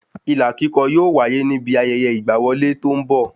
Ilà kíkọ yóò wáyé ní bi ayẹyẹ ìgba wọlé tó n bọ